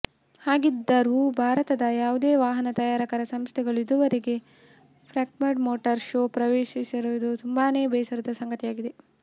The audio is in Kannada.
ಹಾಗಿದ್ದರೂ ಭಾರತದ ಯಾವುದೇ ವಾಹನ ತಯಾರಕ ಸಂಸ್ಥೆಗಳು ಇದುವರೆಗೆ ಫ್ರಾಂಕ್ಫರ್ಟ್ ಮೋಟಾರ್ ಶೋ ಪ್ರವೇಶಿಸದಿರುವುದು ತುಂಬಾನೇ ಬೇಸರದ ಸಂಗತಿಯಾಗಿದೆ